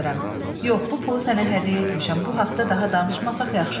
Yox, bu pulu sənə hədiyyə etmişəm, bu haqda daha danışmasaq yaxşı olar.